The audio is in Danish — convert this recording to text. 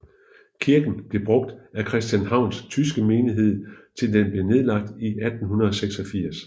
Kirken blev brugt af Christianshavns tyske menighed til den blev nedlagt i 1886